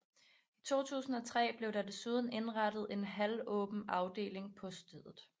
I 2003 blev der desuden indrettet en halvåben afdeling på stedet